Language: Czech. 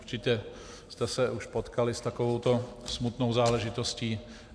Určitě jste se už setkali s takovou smutnou záležitostí.